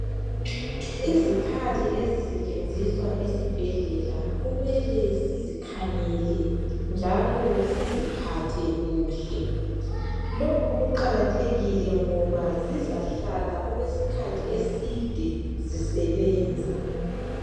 Izikhali ezisetshenziswa esibhedlela kumele sizikhangele njalo siziphathe kuhle lokhu kuqakathekile ngoba zizahlala isikhathi eside zisebenza.